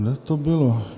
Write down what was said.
Kde to bylo?